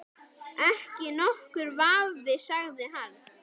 Ekki nokkur vafi sagði hann.